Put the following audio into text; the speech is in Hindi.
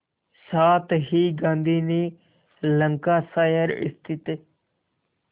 साथ ही गांधी ने लंकाशायर स्थित